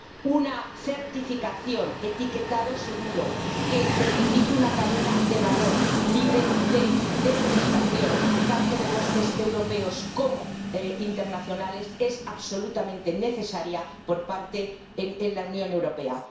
Una certificación, etiquetado seguro que certifique una cadena de valor libre de deforestación, tanto de bosques europeos como internacionales, es absolutamente necesaria en la Unión Europea.